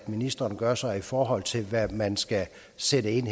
ministeren gør sig i forhold til hvad man skal sætte ind